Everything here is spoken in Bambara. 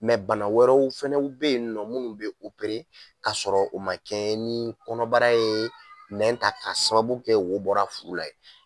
Mɛ bana wɛrɛw fanaw bɛ yen nɔ minnu fana bɛ opere k'a sɔrɔ u ma kɛ ni kɔnɔbarara ye nɛn ta ka sababu kɛ wo bɔra furu la ye.